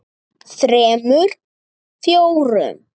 þremur. fjórum.